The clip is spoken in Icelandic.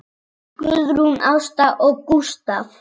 Guðrún Ásta og Gústav.